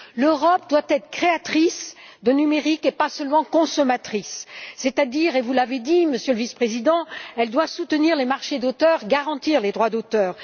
L'Europe doit être créatrice de numérique et pas seulement consommatrice, c'est à dire vous l'avez dit, Monsieur le Vice président qu'elle doit soutenir les marchés d'auteurs et garantir les droits d'auteur.